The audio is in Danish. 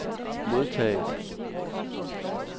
modtaget